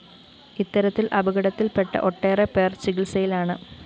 ഇത്തരത്തില്‍ അപകടത്തില്‍പ്പെട്ട ഒട്ടേറെപ്പേര്‍ ചികിത്സയിലാണ്